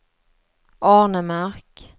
Arnemark